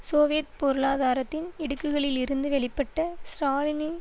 Soviet பொருளாதாரத்தின் இடுக்குகளிலிருந்து வெளிப்பட்ட ஸ்ராலினி